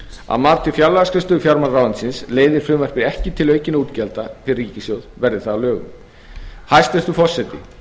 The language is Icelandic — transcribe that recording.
að mati fjárlagaskrifstofu fjármálaráðuneytisins leiðir frumvarpið ekki til aukinna útgjalda fyrir ríkissjóð verði það að lögum hæstvirtur forseti